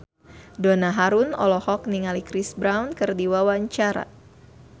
Donna Harun olohok ningali Chris Brown keur diwawancara